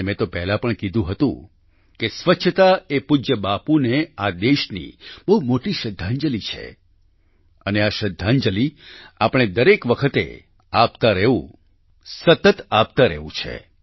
અને મેં તો પહેલાં પણ કીધું હતું કે સ્વચ્છતા એ પૂજ્ય બાપૂને આ દેશની બહુ મોટી શ્રદ્ધાંજલિ છે અને આ શ્રદ્ધાંજલિ આપણે દરેક વખતે આપતા રહેવું છે સતત આપતા રહેવું છે